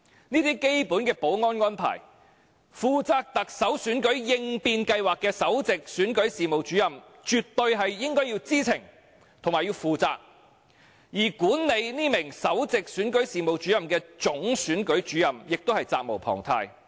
這些基本的保安安排，負責行政長官選舉應變計劃的首席選舉事務主任絕對應該知情和負責，而管理這名首席選舉事務主任的總選舉事務主任亦責無旁貸。